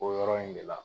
O yɔrɔ in de la